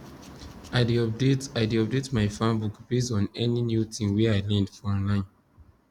i dey update i dey update my farm book base on any new thing wey i learn for online